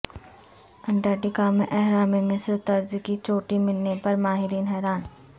Antarctica میں اہرام مصر طرز کی چوٹی ملنے پر ماہرین حیران